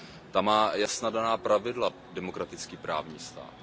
Ten má jasně daná pravidla demokratický právní stát.